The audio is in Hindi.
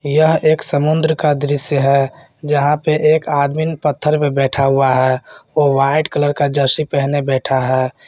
यह एक समुद्र का दृश्य है जहां पे एक आदमी पत्थर पे बैठा हुआ है वो व्हाइट कलर का जर्सी पहने बैठा है।